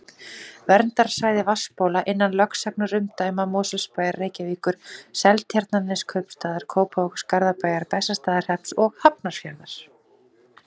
Verndarsvæði vatnsbóla innan lögsagnarumdæma Mosfellsbæjar, Reykjavíkur, Seltjarnarneskaupstaðar, Kópavogs, Garðabæjar, Bessastaðahrepps og Hafnarfjarðar.